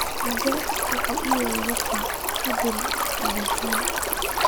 Aabe wuxu yiri dadka hadhal madhayan.